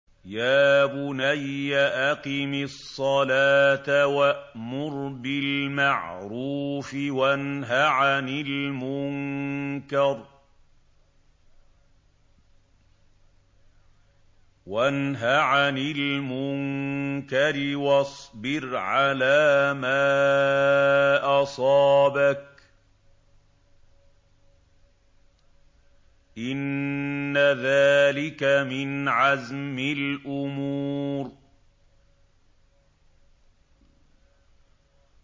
يَا بُنَيَّ أَقِمِ الصَّلَاةَ وَأْمُرْ بِالْمَعْرُوفِ وَانْهَ عَنِ الْمُنكَرِ وَاصْبِرْ عَلَىٰ مَا أَصَابَكَ ۖ إِنَّ ذَٰلِكَ مِنْ عَزْمِ الْأُمُورِ